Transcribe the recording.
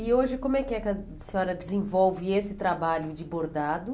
E hoje, como é que a senhora desenvolve esse trabalho de bordado?